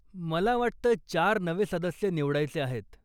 मला वाटतं चार नवे सदस्य निवडायचे आहेत.